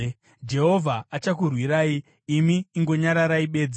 Jehovha achakurwirai; imi ingonyararai bedzi.”